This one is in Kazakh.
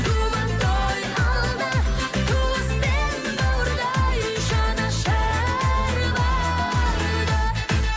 думан той алда туыс пен бауырдай жанашыр барда